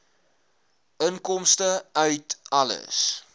inkomste uit alle